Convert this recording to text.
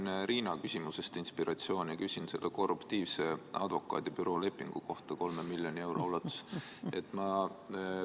Mina sain Riina küsimusest inspiratsiooni ja küsin selle korruptiivse advokaadibüroo 3 miljoni eurose lepingu kohta.